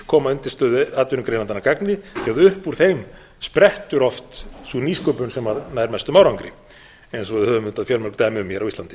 koma undirstöðuatvinnugreinarnar að gagni því að upp úr þeim sprettur oft sú nýsköpun sem nær mestum árangri eins og við höfum auðvitað fjölmörg dæmi um hér á íslandi